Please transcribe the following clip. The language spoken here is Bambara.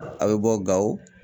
A' bɛ bɔ Gawo